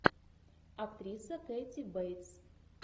актриса кэти бейтс